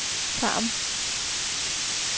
Tarm